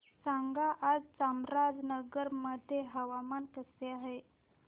सांगा आज चामराजनगर मध्ये हवामान कसे आहे